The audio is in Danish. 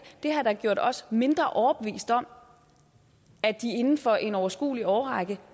har gjort os mindre overbevist om at de inden for en overskuelig årrække